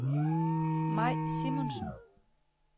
Mai Simonsen